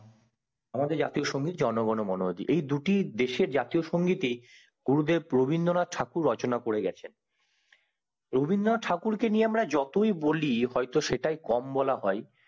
আমাদের দেশের জাতীয় সংগীত জনগণ মন এই দুটি দেশের জাতীয় সংগীত ই গুরুদেব রবীন্দ্রনাথ ঠাকুর রচনা করে গেছেন রবীন্দ্রনাথ ঠাকুরকে নিয়ে আমরা যতই বলি হয় তো সেটাই কম বলা হয়